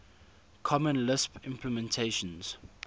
common lisp implementations